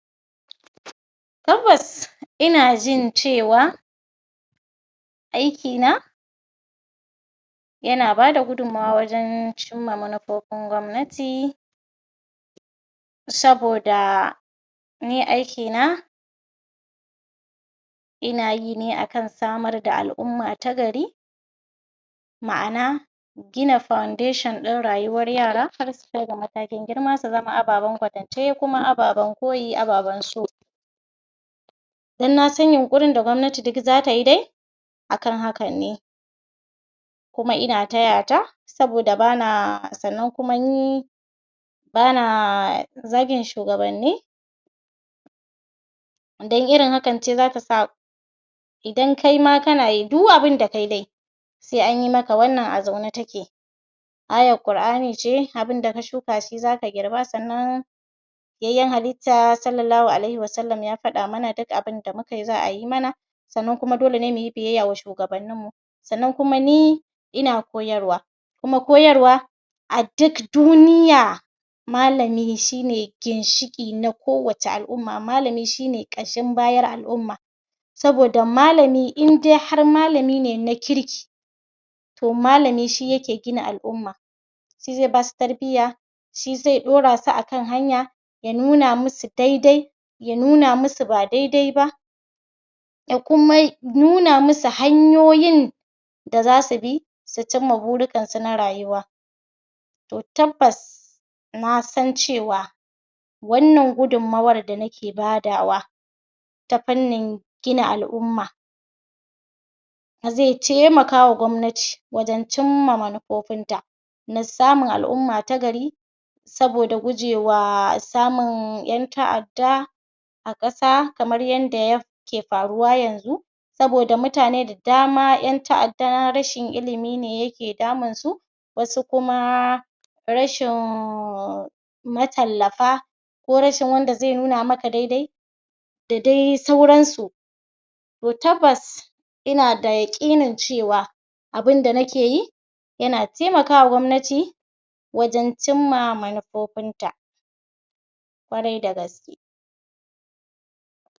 Tabbas ina jin cewa aikina yana bada gudummuwa wajen cimma manufofin gwamnati saboda ni aikina ina yi ne akan samar da al'umma ta gari. ma'ana gina foundation ɗin rayuwar yara har sukai ga matakin girma su zama ababen koyo ababen kwatance ababen koyi ababen so. dan nasan yunƙurin da gwamnati duk za ta yi dai a kan haka ne. kuma ina taya ta saboda ba na sanna kuma ni bana zagin shugabanni dan irin hakan ce za ta sa idan kaima kana yi duk abun da kai kai sai an yi maka wannan a zaune take. ayar Ƙur'ani ce abinda ka shuka shi za ka girba, sannan fiyayyen halitta Sallallahu alaihim wasallam ya faɗa mana duk abun da mu ka yi za a yi mana sannan kuma dole ne mu yi biyayya ga shugabanninmu. sanna kuma ni ina koyarwa kuma koyarwa a duk duniya malami shi ne ginshiƙi na kowace al'umma malami shi ne ƙashin bayar kowace al'umma. saboda malami in dai har malami ne na kirki to malami shi yake gina al'umma shi zai ba su tarbiyya shi zai ɗora su a kan hanya ya nuna masu dai-dai ya nuna masu ba dai-dai ba. Ya kuma nuna masu hanyoyin da za su bi su cimma burikansu na rayuwa. tabbas na san cewa wannan gudummuwar da nike badawa ta fannin gina al'umma zai taimakawa wa gwamnatin wajen cimma manufofinta na samun al'umma ta gari saboda gujewa samun ƴan ta'adda a ƙasa kamar yadda ayake faruwa yanzu saboda mutane da dama ƴan ta'adda rashin ilimi ne yake damunsu. wasu kuma rahin matallafa ko rashin wanda zai nuna maka dai-dai da dai sauransau yo tabbas in da yaƙinin cewa abinda nike yi yana taimaka wa gwamnati, wajen cimma manufofinta. ƙwarai da gaske.